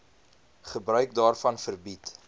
gebruik daarvan verbied